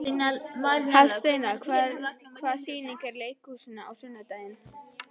Hafsteina, hvaða sýningar eru í leikhúsinu á sunnudaginn?